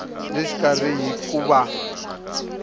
le xikarhi hi ku va